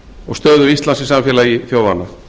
og stöðu íslands í samfélagi þjóðanna